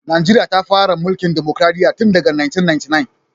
Najeriya ta fara tsarin mulkin dimokradiyya tun daga 1999.